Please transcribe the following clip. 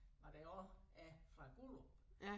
Hvad der også er fra Guderup